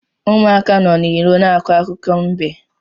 Ụmụaka nọ n’iro na-akọ akụkọ mbe